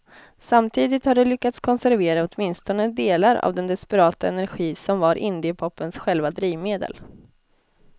Samtidigt har de lyckats konservera åtminstone delar av den desperata energi som var indiepopens själva drivmedel.